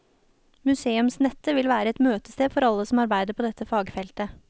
Museumsnettet vil være møtested for alle som arbeider på dette fagfeltet.